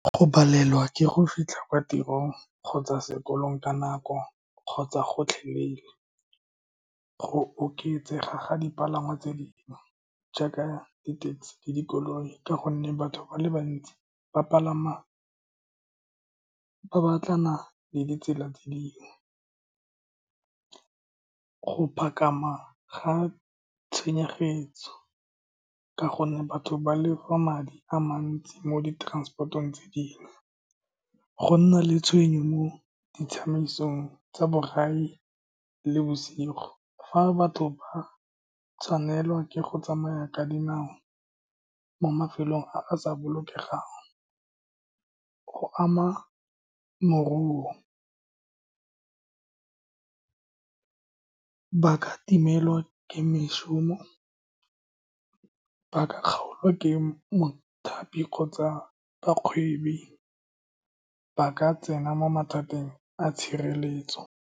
Go palelwa ke go fitlha kwa tirong kgotsa sekolong ka nako, kgotsa gotlhelele, go oketsega ga dipalangwa tse dingwe, jaaka ditekesi le dikoloi, ka gonne batho ba le bantsi ba palama, ba batlana le ditsela tse dingwe go ga , ka gonne batho ba lefa madi a mantsi mo di transport-ong tse dingwe. Go nna le tshwenyo mo ditsamaisong tsa borai le bosigo, fa batho ba tshwanelwa ke go tsamaya ka dinao mo mafelong a a sa bolokesegang, go ama ka timelwa ke mešomo, ba ka kgaolwa ke mothapi kgotsa bakgweetsi ba ka tsena mo mathateng a tshireletso.